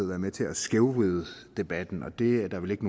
være med til at skævvride debatten og det er der vel ikke